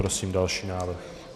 Prosím další návrh.